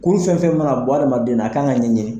Kuru fɛn fɛn mana bɔ hadamaden na a ka kan ka ɲɛɲinin.